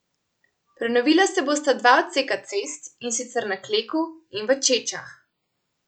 Prenovila se bosta dva odseka cest, in sicer na Kleku in v Čečah.